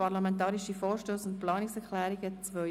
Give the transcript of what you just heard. Parlamentarische Vorstösse und Planungserklärungen 2017.